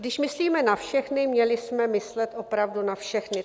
Když myslíme na všechny, měli jsme myslet opravdu na všechny.